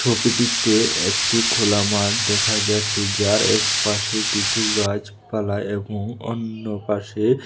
ছবিটিতে একটি খোলা মাঠ দেখা যাচ্ছে যার এক পাশে কিছু গাছপালা এবং অন্য পাশে--